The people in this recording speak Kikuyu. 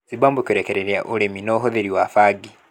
Zimbabwe kũrekereria ũrĩmi na ũhũthĩri wa bangi